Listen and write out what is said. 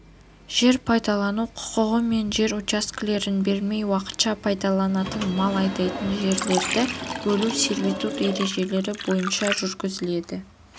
жер пайдалану құқығымен жер учаскелерін бермей уақытша пайдаланылатын мал айдайтын жолдарды бөлу сервитут ережелері бойынша жүргізіледі